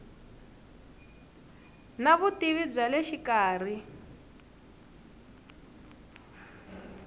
na vutivi bya le xikarhi